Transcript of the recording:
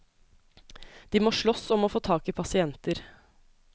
De må slåss om å få tak i pasienter.